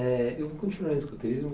Eh eu vou continuar no escoteirismo.